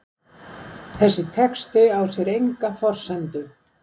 þessi texti á sér enga forsendu